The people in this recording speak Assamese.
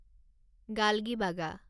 গালগিবাগা